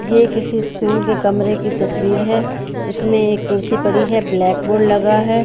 ये किसी स्कूल के कमरे की तस्वीर है इसमें एक कुर्सी पड़ी है ब्लैक बोर्ड लगा है।